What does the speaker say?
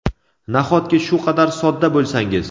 nahotki shu qadar sodda bo‘lsangiz?.